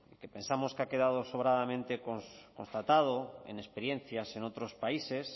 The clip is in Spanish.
que pensamos que ha quedado sobradamente constatado en experiencias en otros países